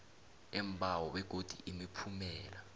leembawo begodu imiphumela